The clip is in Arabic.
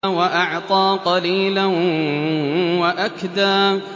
وَأَعْطَىٰ قَلِيلًا وَأَكْدَىٰ